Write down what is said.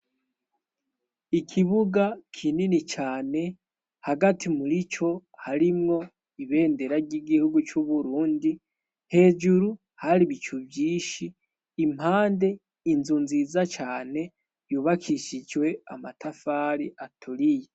Ikibuga kinini cane, hagati muri co harimwo ibendera ry'igihugu c'uburundi hejuru hari ibico vyinshi impande inzu nziza cane yubakishijwe amatafari aturiye.